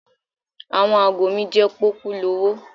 Àwọn ago mi jẹ́ pọ́kúlowó.